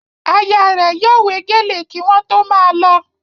Aya rẹ̀ yóò wé gèlè kí wọ́n tó máa lọ